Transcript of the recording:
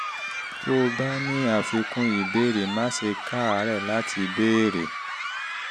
tó o bá ní àfikún ìbéèrè má ṣe káàárẹ̀ láti béèrè